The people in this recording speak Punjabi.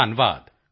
ਧੰਨਵਾਦ